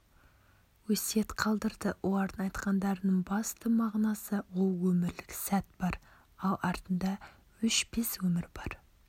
өсиет қалдырды олардың айтқандарының басты мағынасы ол өмірлік сәт бар ал артында өшпес өмір бар